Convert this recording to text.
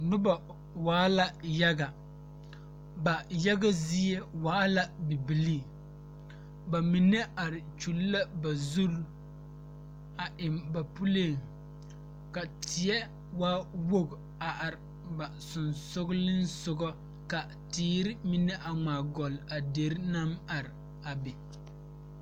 Nobɔ waala yaga ba yaga zie waa la bibilii ba mine are kyule la ba zurre a eŋ ba puleeŋ ka teɛ waa woge a are ba seŋsugliŋsugɔ ka teere mine a ngmaa gɔlle a dere naŋ are a be.